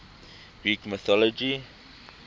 greek mythology